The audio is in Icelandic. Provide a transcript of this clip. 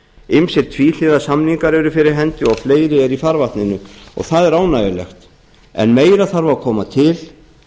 ýmsir tvíhliða samningar eru fyrir hendi og fleiri eru í farvatninu og það er ánægjulegt meira þarf að koma til